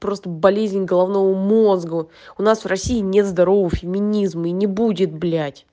просто болезнь головного мозга у нас в россии нет здорового феминизма и не будет блять